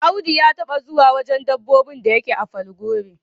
Audu ya taba zuwa wajen dabbobin da yake a Falgore.